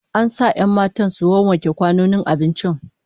An sa 'yan matan su wawwanke kwanonin abincin